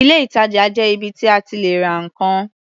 Ilé-ìtajà jẹ́ ibi tí a ti lè ra nǹkan.